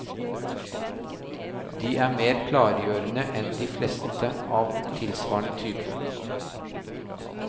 De er mer klargjørende enn de fleste av tilsvarende type.